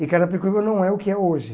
E Carapicuíba não é o que é hoje.